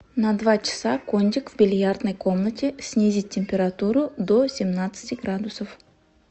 на два часа кондик в бильярдной комнате снизить температуру до семнадцати градусов